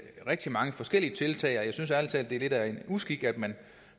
rigtig mange forskellige tiltag og jeg synes ærlig talt det er lidt af en uskik at man